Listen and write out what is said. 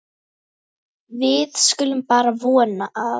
Við skulum bara vona að